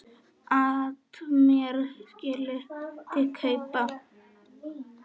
at mér skyldi kaupa